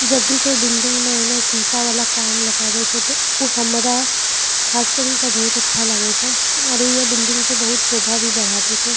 जब भी कोई बिल्डिंग में एहनो शीशा वाला काम लगावे छै ते उ हमरा खास करी के बहुत अच्छा लगे छै आरू ये बिल्डिंग के शोभा भी बढ़ावे छै।